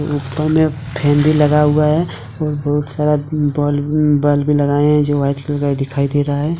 ऊपर में फैन भी लगा हुआ है और बहुत सारा बल्ब बल्ब भी लगाए है जो वाइट कलर का दिखाई दे रहा है।